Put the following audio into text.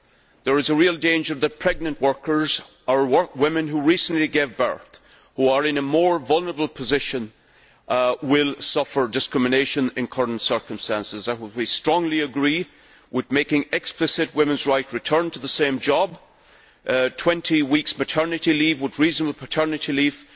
There is a real danger that pregnant workers or women who recently gave birth, who are in a more vulnerable position, will suffer discrimination in the current circumstances. We strongly agree with making explicit a woman's right to return to the same job, 20 weeks maternity leave and reasonable paternity leave.